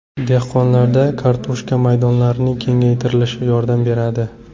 Dehqonlarda kartoshka maydonlarining kengaytirilishi yordam beradi.